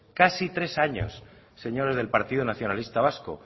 casi tres años señores del partido nacionalista vasco